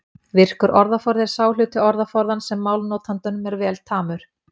Virkur orðaforði er sá hluti orðaforðans sem málnotandanum er vel tamur.